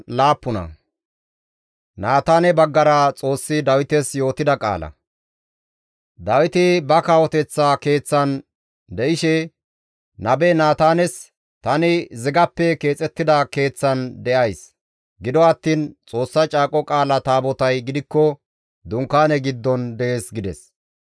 Dawiti ba kawoteththa keeththan de7ishe, nabe Naataanes, «Tani zigappe keexettida keeththan de7ays; gido attiin Xoossa Caaqo Qaala Taabotay gidikko dunkaane giddon dees» gides.